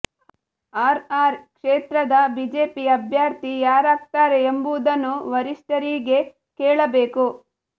R R ಕ್ಷೇತ್ರದ BJP ಅಭ್ಯರ್ಥಿ ಯಾರಾಗ್ತಾರೆ ಎಂಬುದನ್ನು ವರಿಷ್ಠರಿಗೆ ಕೇಳಬೇಕು